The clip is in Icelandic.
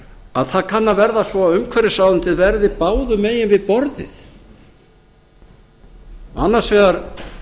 að það kann að verða svo að umhverfisráðuneytið verði báðum megin við borðið annars vegar